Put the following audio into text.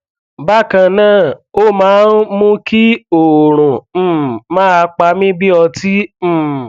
bákan náà ó máa ń mú kí oorun um máa pa mí bí ọtí um